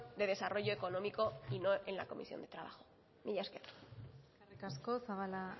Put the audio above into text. de desarrollo económico y no en la comisión de trabajo mila esker eskerrik asko zabala